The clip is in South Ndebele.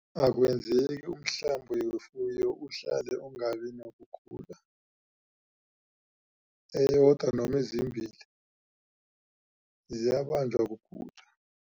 Akwenzeki umhlambi wefuyo uhlale ungabi nokugula eyodwa noma ezimbili zayabanjwa kugula.